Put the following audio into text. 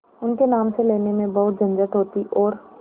उनके नाम से लेने में बहुत झंझट होती और